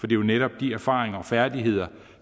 jo netop de erfaringer og færdigheder